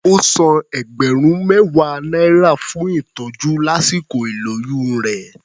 Ó san ẹgbẹ̀rún mẹ́wàá náírà fún ìtọ́jú lásìkò ìlóyún rẹ̀.